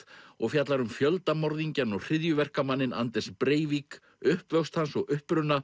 og fjallar um fjöldamorðingjann og hryðjuverkamanninn Anders Breivik uppvöxt hans og uppruna